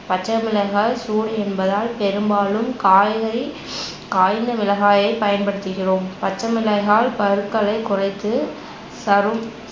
பச்சைமிளகாய் சூடு என்பதால் பெரும்பாலும் காய்களில் காய்ந்த மிளகாயை பயன்படுத்துகிறோம் பச்சைமிளகாய் பருக்களைக் குறைத்து சரும்